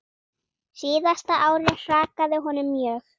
Síðasta árið hrakaði honum mjög.